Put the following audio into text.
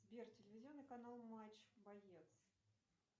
сбер телевизионный канал матч боец